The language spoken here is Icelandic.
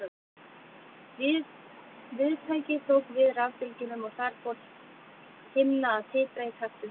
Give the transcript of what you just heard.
Viðtækið tók við rafbylgjunum og þar fór himna að titra í takt við þær.